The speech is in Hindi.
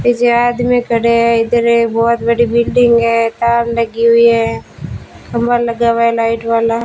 एक आदमी खड़ा है इदर एक बहुत बड़ी बिल्डिंग है तार लगी हुई है खंभा लाइट वाला --